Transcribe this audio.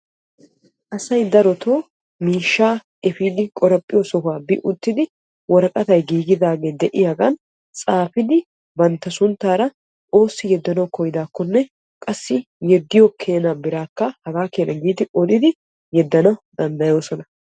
Asay darotoo miishshaa epiidi qoraphphiyoo sohuwaa bi uttidi woraqatay giigidagee de'iyaagan tsaafidi bantta sunttaara oossi yeddanawu koyyidaakonne qassi yeddiyoo keenaa biraakka hagaa keena giidi yedana danddayoosona.